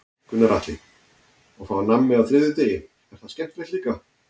Gunnar Atli: Og fá nammi á þriðjudegi, er það skemmtilegt líka?